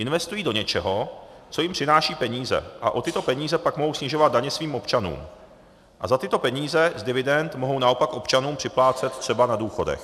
Investují do něčeho, co jim přináší peníze, a o tyto peníze pak mohou snižovat daně svým občanům a za tyto peníze z dividend mohou naopak občanům připlácet třeba na důchodech.